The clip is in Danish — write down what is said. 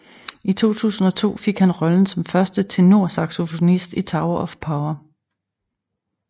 I 2002 fik han rollen som første tenorsaxofonist i Tower of Power